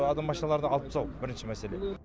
адам машиналарды алыптсау бірінші мәселе